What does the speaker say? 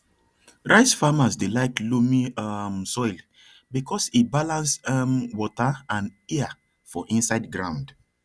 rice farmers dey like loamy um soil because e balance um water and air for inside ground